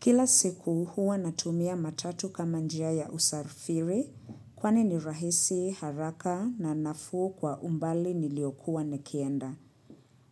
Kila siku huwa natumia matatu kama njia ya usafiri kwani ni rahisi haraka na nafuu kwa umbali niliokuwa nekienda.